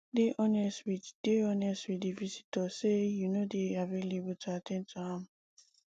dey honest with dey honest with di visitor sey you no dey available to at ten d to am